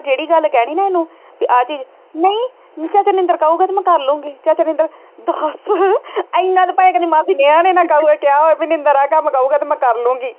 ਜਿਹੜੀ ਗੱਲ ਕਹਿਣੀ ਨਾ ਇਹਨੂੰ ਕਿ ਆਹ ਚੀਜ਼ ਨਹੀਂ ਚਾਚਾ ਨਿੰਦਰ ਕਹੂਗਾ ਤੇ ਮੈਂ ਕਰ ਲਊਂਗੀ ਚਾਚਾ ਨਿੰਦਰ, ਬਸ ਇੰਨਾ ਤੇ ਭਾਵੇਂ ਕਹਿੰਦੀ ਮਾਸੀ ਕਿਹਾ ਵੀ ਨਿੰਦਰ ਆਹ ਕਹੂਗਾ ਤੇ ਮੈਂ ਕਰ ਲਵਾਂਗੀ।